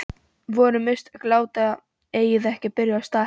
Voru mistök að láta Eið ekki byrja í stað Helga?